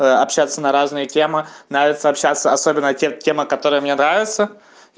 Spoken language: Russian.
общаться на разные темы нравится общаться особенно те темы которые мне нравятся